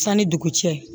Sanni dugu cɛ